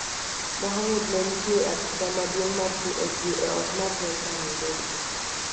Mohamud ne nitie e apise maduong' mar CoG e ot mar Delta, Nairobi.